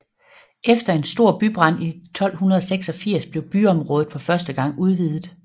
Efter en stor bybrand i 1286 blev byområdet for første gang udvidet